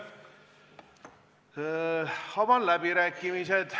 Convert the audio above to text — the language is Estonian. Avan läbirääkimised.